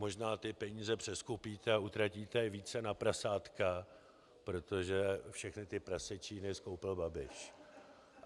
Možná ty peníze přeskupíte a utratíte je více na prasátka, protože všechny ty prasečíny skoupil Babiš.